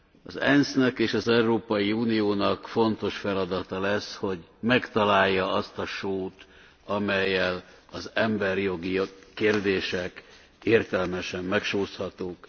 Az ENSZ nek és az Európai Uniónak fontos feladata lesz, hogy megtalálja azt a sót, amellyel az emberi jogi kérdések értelmesen megsózhatók.